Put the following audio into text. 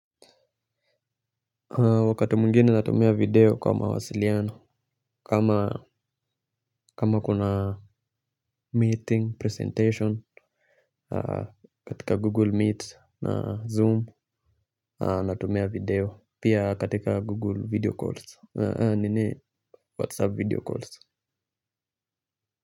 Wakati mwingine natumia video kwa mawasiliano kama kuna meeting presentation katika google meet na zoom natumia video pia katika google video calls nini whatsapp video calls.